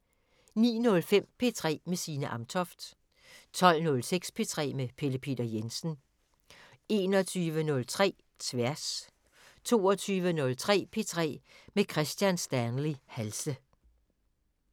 09:05: P3 med Signe Amtoft 12:05: P3 med Pelle Peter Jensen 21:03: Tværs 22:03: P3 med Kristian Stanley Halse